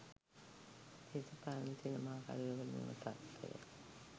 දේශපාලන සිනමාකරුවකුට මෙම තත්ත්වය